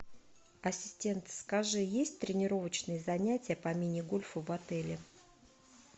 ассистент скажи есть тренировочные занятия по мини гольфу в отеле